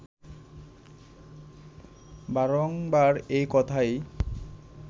বারংবার এই কথাই